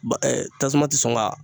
Ba tasuma ti sɔn ka